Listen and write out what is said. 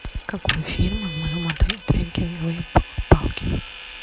какой фирмы в моем отеле трекинговых палки